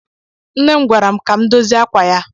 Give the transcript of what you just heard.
Nne m gwara m ka m dozie ákwà ya.